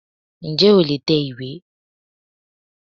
N jẹ́ o lè tẹ ìwé